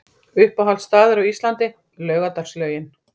Uppáhalds staður á Íslandi: Laugardalslaugin